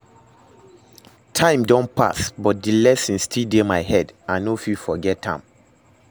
Time don pass, but the lesson still dey my head, I no fit forget am